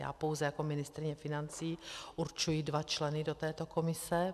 Já pouze jako ministryně financí určuji dva členy do této komise.